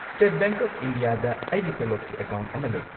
State Bank of ꯏꯟꯗꯤꯌꯥꯗ ꯑꯩꯒꯤ ꯇꯣꯂꯣꯞꯀꯤ ꯑꯦꯀꯥꯎꯟꯠ ꯑꯃ ꯂꯩ꯫